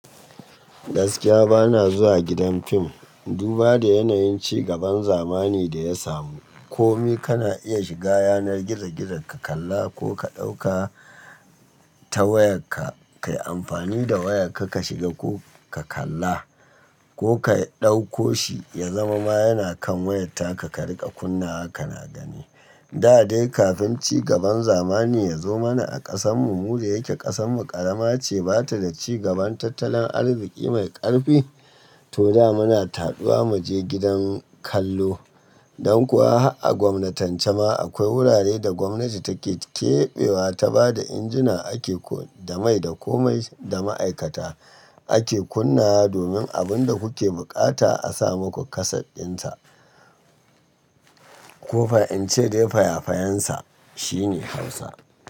Gaskiya bana zuwa gidan fim. Duba da yanayin cigaban zamani da ya samu. Komai kana iya shiga yanar gizo-gizo ka kalla ko ka ɗauka ta wayarka, ka yi amfani da wayarka ka shiga ko ka kalla ko ka ɗauko shi ya zama ma yana kan waya taka ka riƙa kunna wa kana gani. Da dai kafin cigaban zamani ya zo mana a ƙasanmu, mu da yake ƙasanmu ƙarama ce ba ta da cigaban tattalin arziki mai ƙarfi. To da muna taɓa mu je gidan kallo. Don kuwa a gwamnantace ma akwai wurare da gwamnati take keɓewa ta ba da injina ake ko da mai da komai da ma'aikata ake kunna wa domin abin da kuke buƙata a sa muku kaset ɗinsa. Ko fa in ce dai faya-fayensa shine Hausa.